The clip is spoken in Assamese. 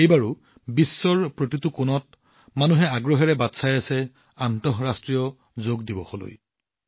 এইবাৰো বিশ্বৰ প্ৰতিটো কোণত মানুহে আগ্ৰহেৰে বাট চাই আছে আন্তঃৰাষ্ট্ৰীয় যোগ দিৱসলৈ